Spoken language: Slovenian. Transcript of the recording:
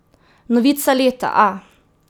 Novica leta, a!